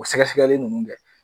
O sɛgɛsɛgɛli ninnu kɛ.